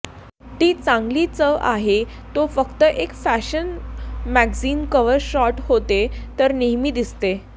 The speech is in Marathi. ती चांगली चव आहे तो फक्त एक फॅशन मॅगझिन कव्हर शॉट होते तर नेहमी दिसते